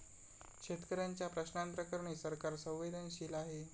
शेतकऱ्यांच्या प्रश्नांप्रकरणी सरकार संवेदनशील आहे.